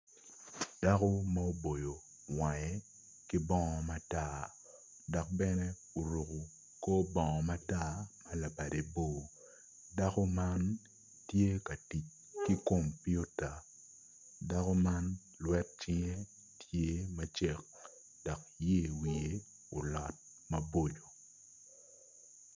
Dako ma oboyo wange ki bongo matar dok bene oruku kor bongo matar ma labade bor dako man tye ka tic ki kopiuta dako man lwet cinge tye macek dok yer wiye olot maboco